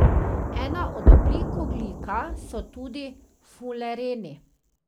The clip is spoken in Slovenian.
Ena od oblik ogljika so tudi fulereni.